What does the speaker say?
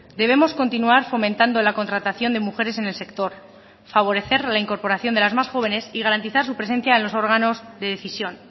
debemos continuar fomentando la contratación de mujeres en el sector favorecer la incorporación de las más jóvenes y garantizar su presencia en los órganos de decisión